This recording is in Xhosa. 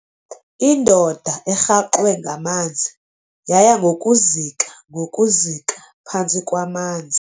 Indoda erhaxwe ngamanzi yaya ngokuzika ngokuzika phantsi kwamanzi.